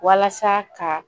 Walasa ka